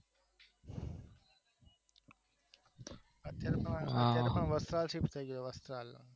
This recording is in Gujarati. અત્યારમાં વસ્ત્રાલ શિફ્ટ થયી ગયા વસ્ત્રાલ